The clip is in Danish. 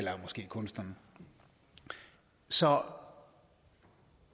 kunst som